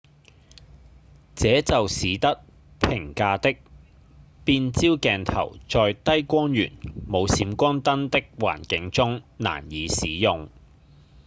這就使得平價的變焦鏡頭在低光源、無閃光燈的環境中難以使用